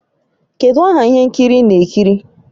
Kedụ aha ihe nkiri ị na-ekiri?